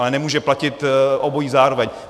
Ale nemůže platit obojí zároveň.